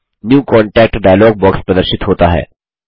new contact dialog box प्रदर्शित होता है